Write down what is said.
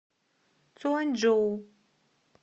цюаньчжоу